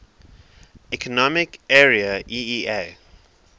economic area eea